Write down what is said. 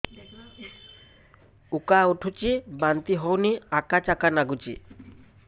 ଉକା ଉଠୁଚି ବାନ୍ତି ହଉନି ଆକାଚାକା ନାଗୁଚି